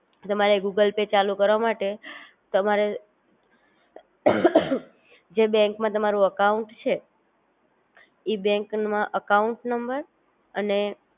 તમારે Google Pay ચાલુ કરવા માટે તમારે જે બેન્ક માં તમારું અકાઉંટ છે ઈ બેન્ક માં અકાઉંટ નંબર